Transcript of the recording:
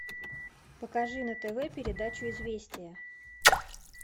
покажи на тв передачу известия